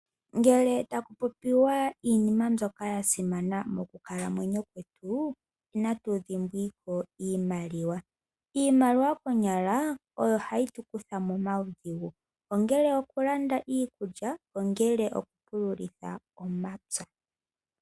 Ngele taku popiwa iinima mbyoka ya simana mokukalamwenyo kwetu inatu dhimbwako iimaliwa. Iimaliwa konyala oyo hayi tukutha momaudhigu ongele oku landa iikulya, ongele oku pulula omapya.